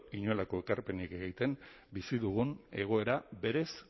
inolako ekarpenik egiten bizi dugun egoera berez